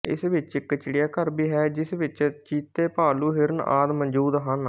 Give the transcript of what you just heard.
ਇਸ ਵਿਚ ਇਕ ਚਿੜਿਆ ਘਰ ਵੀ ਹੈ ਜਿਸ ਵਿਚ ਚੀਤੇਭਾਲੂ ਹਿਰਨ ਆਦਿ ਮੌਜੂਦ ਹਨ